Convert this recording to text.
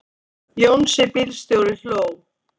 Jónsi bílstjóri hló.